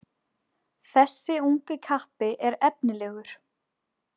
Þessi ungi kappi er efnilegur